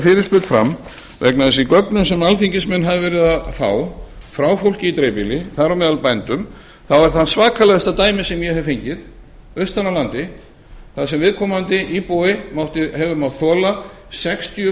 fyrirspurn fram vegna þess að í gögnum sem alþingismenn hafa verið að fá frá fólki í dreifbýli þar á meðal bændum þá var það svakalegasta dæmi sem ég hef fengið austan af landi þar sem viðkomandi íbúi hefur mátt þola sextíu